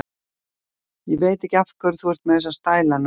Ég veit ekki af hverju þú ert með þessa stæla, nöldraði hún.